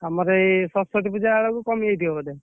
ତମର ଏଇ ସରସ୍ୱତୀ ପୂଜା ବେଳକୁ କମିଯାଇଥିବ ବୋଧେ!